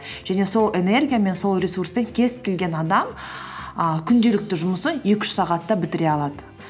және сол энергиямен сол ресурспен кез келген адам і күнделікті жұмысын екі үш сағатта бітіре алады